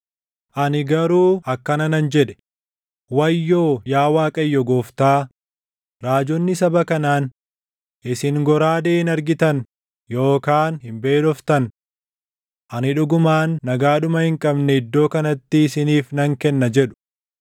Ani garuu akkana nan jedhe; “Wayyoo yaa Waaqayyo Gooftaa, raajonni saba kanaan, ‘Isin goraadee hin argitan yookaan hin beeloftan. Ani dhugumaan nagaa dhuma hin qabne iddoo kanatti isiniif nan kenna’ jedhu.”